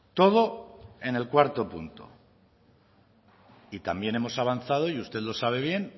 todo en el cuarto punto y también hemos avanzado y usted lo sabe bien